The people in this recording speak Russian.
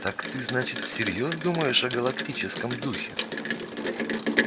так ты значит всерьёз думаешь о галактическом духе